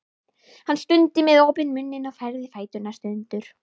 Hún stundi með opinn munninn og færði fæturna sundur.